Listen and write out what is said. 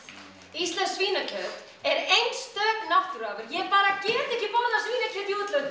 íslenskt svínakjöt er einstök náttúruafurð ég bara get ekki borðað svínakjöt í útlöndum